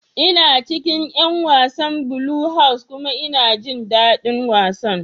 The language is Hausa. Ina cikin 'yan wasan Blue House kuma ina jin dadin wasan.